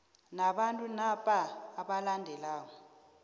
nabantu napa abalandelako